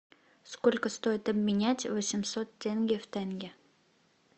сколько стоит обменять восемьсот тенге в тенге